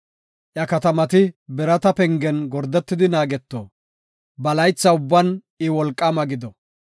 Iya katamati birata pengen gordetidi naageto; ba laytha ubban I wolqaama gido.